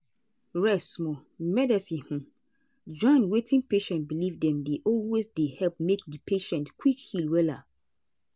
rest small. medicine hmmm join wetin patient believe dem dey always dey help make di patient quick heal wella.